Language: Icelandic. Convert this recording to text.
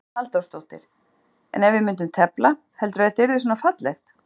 Hugrún Halldórsdóttir: En ef við myndum tefla, heldurðu að þetta yrði svona fallegt?